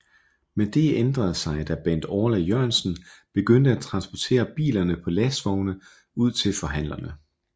Men det ændrede sig da Bent Orla Jørgensen begyndte at transportere bilerne på lastvogne ud til forhandlerne